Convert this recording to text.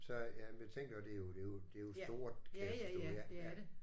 Så jamen jeg tænker det er jo det er jo det er jo stort kan jeg forstå ja ja